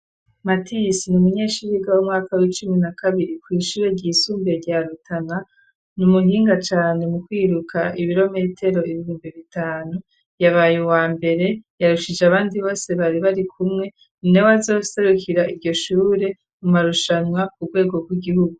Matisi ni umunyeshure yiga w'umwaka w'icumi na kabiri kw’ishure ry'isumbuye rya rutana ni umuhinga cane mu kwiruka ibirometero ibihumbi bitanu ,yabaye uwa mbere yarushije abandi bose bari bari kumwe ,ninawe azoserukira iryo shure mu marushanwa ku rwego rw'igihugu.